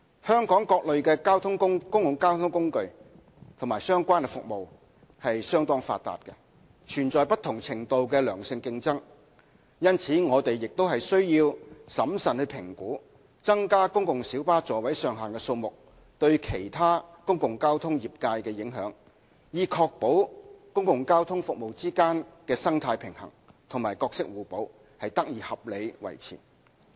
香港各類公共交通工具和相關服務相當發達，存在不同程度的良性競爭，因此我們亦須審慎評估增加公共小巴座位上限的數目對其他公共交通業界的影響，以確保公共交通服務之間的生態平衡及角色互補得以合理地維持。